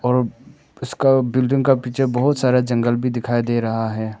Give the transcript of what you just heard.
और इसका बिल्डिंग का पीछे बहोत सारा जंगल भी दिखाई दे रहा है।